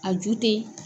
A ju tɛ